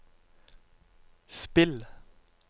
spill